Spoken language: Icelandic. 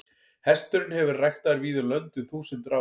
Hesturinn hefur verið ræktaður víða um lönd um þúsundir ára.